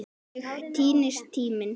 Þannig týnist tíminn.